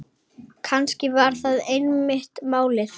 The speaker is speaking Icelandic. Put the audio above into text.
Kannski var þetta einmitt málið.